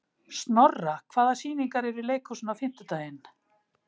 Snorra, hvaða sýningar eru í leikhúsinu á fimmtudaginn?